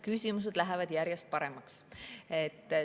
Küsimused lähevad järjest paremaks.